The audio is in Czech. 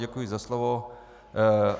Děkuji za slovo.